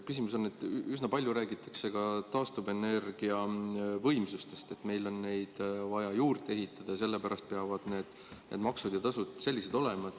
Küsimus on, et üsna palju räägitakse ka taastuvenergiavõimsustest, et meil on neid vaja juurde ehitada ja sellepärast peavad need maksud ja tasud sellised olema.